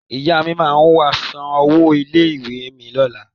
Ìyá mi máa wá san owó ilé-ìwé mi lọ́la.